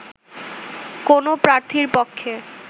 কোনো প্রার্থীর পক্ষে